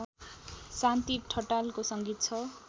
शान्ति ठटालको संगीत छ